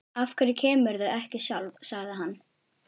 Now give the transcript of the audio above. Af hverju kemurðu ekki sjálf? sagði hann.